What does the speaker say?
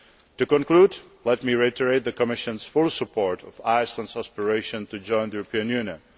To conclude, let me reiterate the Commission's full support for Iceland's aspiration to join the European Union.